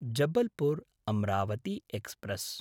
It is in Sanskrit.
जबलपुर्–अम्रावती एक्स्प्रेस्